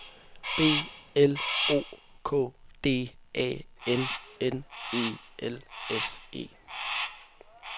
B L O K D A N N E L S E